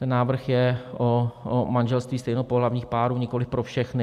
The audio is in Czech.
Ten návrh je o manželství stejnopohlavních párů, nikoliv pro všechny.